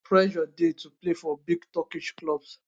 pressure dey to play for big turkish clubs